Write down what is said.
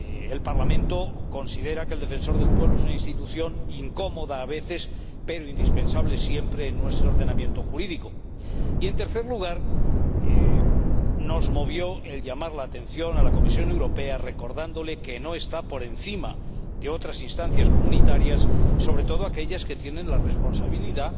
El Parlamento considera que el Defensor del Pueblo es una institución incómoda a veces, pero indispensable siempre en nuestro ordenamiento jurídico. Y, en tercer lugar, nos movió el llamar la atención a la Comisión Europea, recordándole que no está por encima de otras instancias comunitarias, sobre todo aquellas que tienen la responsabilidad